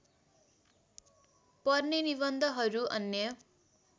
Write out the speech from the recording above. पर्ने निबन्धहरू अन्य